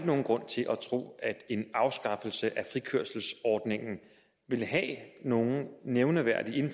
nogen grund til at tro at en afskaffelse af frikørselsordningen vil have nogen nævneværdig